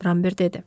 Rambert dedi.